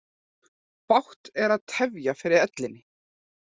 Bágt er að tefja fyrir ellinni.